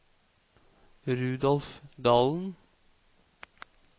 Rudolf Dahlen